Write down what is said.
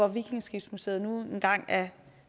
vikingeskibsmuseet nu engang er